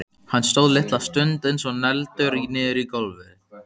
Hann stóð litla stund eins og negldur niður í gólfið.